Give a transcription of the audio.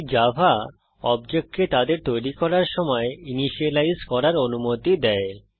তাই জাভা অবজেক্টকে তাদের তৈরী করার সময় ইনিসিয়েলাইজ করার অনুমতি দেয়